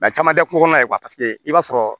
caman tɛ ko kɔnɔna la i b'a sɔrɔ